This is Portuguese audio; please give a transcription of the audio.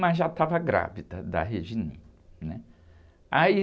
mas já estava grávida da, né? Aí...